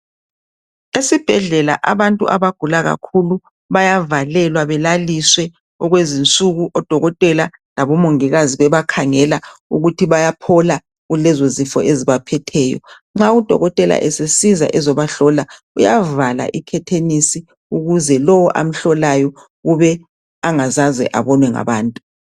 Esibhedlela abantu abagula kakhulu bayavalelwa belaliswe okwezinsuku odokotela labomongikazi bebakhangela ukuthi bayaphola kulezo zifo ezibaphetheyo. Nxa udokotela esesiza ukuzobahlola uyavala ikhetheni ukuze lowo awomhlolayo kube angazaze abonwe ngabantu.